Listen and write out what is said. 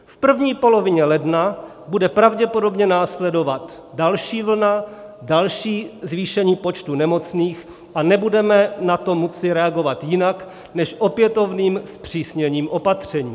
V první polovině ledna bude pravděpodobně následovat další vlna, další zvýšení počtu nemocných, a nebudeme na to moci reagovat jinak než opětovným zpřísněním opatření.